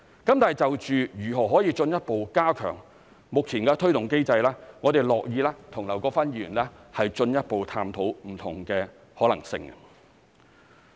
但是，就如何可以進一步加強目前的推動機制，我們樂意與劉國勳議員進一步探討不同的可能性。